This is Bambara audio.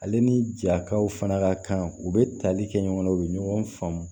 Ale ni ja kaw fana ka kan u bɛ tali kɛ ɲɔgɔn na u bɛ ɲɔgɔn faamu